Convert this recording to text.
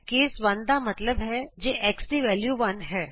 case 1 ਦਾ ਮਤਲਬ ਹੈ ਜੇ x ਦੀ ਵੈਲਯੂ 1 ਹੈ